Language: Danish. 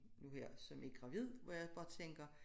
Nu her som er gravid hvor jeg også bare tænker